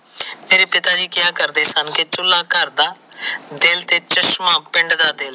ਤੇਰੇ ਪਿਤਾ ਜੀ ਕਿਹਾ ਕਰਦੇ ਸਨ ਕਿ ਚੁੱਲ੍ਹਾ ਘਰ ਦਾ ਦਿਲ ਤੇ ਚਸ਼ਮਾ ਪਿੰਡ ਦਾ ਤੇ ਲੇਹ।